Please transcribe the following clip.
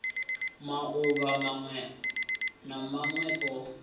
mauvha mawe na mawe o